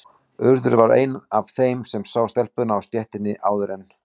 Urður var ein af þeim sem sá telpuna á stéttinni áður en